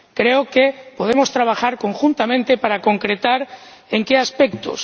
Creo que podemos trabajar conjuntamente para concretar en qué aspectos.